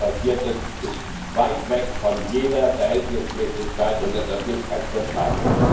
Was dort passiert ist, ist weit weg von jeder Verhältnismäßigkeit und deshalb nicht akzeptabel.